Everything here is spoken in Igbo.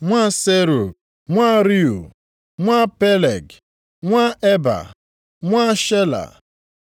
nwa Serug, nwa Reu, nwa Peleg, nwa Eba, nwa Shela;